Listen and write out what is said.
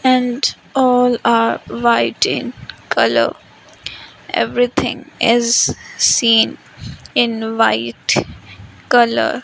and all are white in colour everything is seen in white colour.